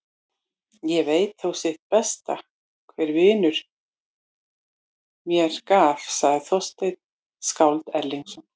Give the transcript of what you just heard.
Ég veit þó sitt besta hver vinur mér gaf, segir Þorsteinn skáld Erlingsson.